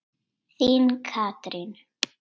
Þín Katrín.